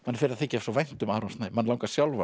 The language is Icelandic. fer að þykja svo vænt um Aron Snæ mann langar sjálfan